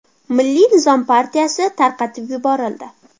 Milliy nizom partiyasi tarqatib yuborildi.